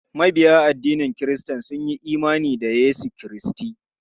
Mabiya addinin kiristanci sun yi imani da Yesu Kiristi.